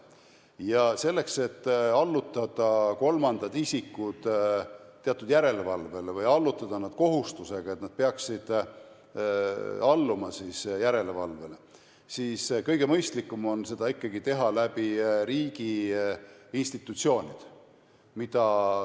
Ja selleks, et allutada kolmandad isikud teatud järelevalvele või luua neile kohustus, et nad peaksid alluma järelevalvele, on kõige mõistlikum teha seda ikkagi riigiinstitutsioonide kaudu.